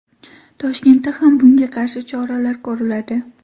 Toshkentda ham bunga qarshi choralar ko‘riladi.